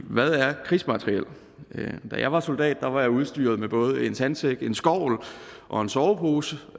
hvad er krigsmateriel da jeg var soldat var jeg udstyret med både en sandsæk en skovl og en sovepose